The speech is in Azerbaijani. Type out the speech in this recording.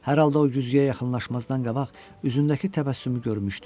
Hər halda o güzgüyə yaxınlaşmazdan qabaq üzündəki təbəssümü görmüşdüm.